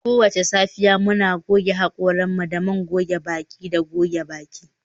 Kowace safiya, muna goge haƙoranmu da man goge baki da goge baki